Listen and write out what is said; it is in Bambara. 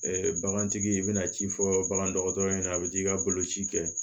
bagantigi i bɛna ci fɔ bagandɔgɔtɔrɔ ɲɛna a bɛ t'i ka boloci kɛ